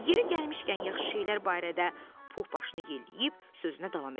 Yeri gəlmişkən yaxşı şeylər barədə Pux başını yelləyib sözünə davam elədi.